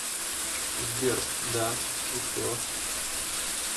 сбер да и что